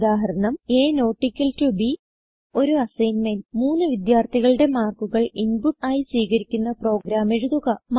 ഉദാഹരണം160ab ഒരു അസൈന്മെന്റ് മൂന്ന് വിദ്യാർഥികളുടെ മാർക്കുകൾ ഇൻപുട്ട് ആയി സ്വീകരിക്കുന്ന പ്രോഗ്രാം എഴുതുക